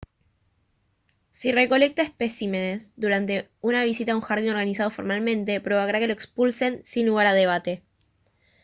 si recolecta «especímenes» durante una visita a un jardín organizado formalmente provocará que lo expulsen sin lugar a debate